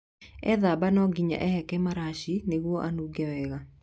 Ethamba no nginya ehake maraci nĩguo anunge wega.